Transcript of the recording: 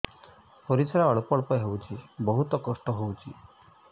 ପରିଶ୍ରା ଅଳ୍ପ ଅଳ୍ପ ହଉଚି ବହୁତ କଷ୍ଟ ହଉଚି